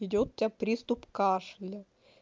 идёт тебя приступ кашля